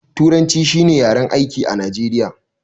Turanci shi ne yaren aiki a najeriya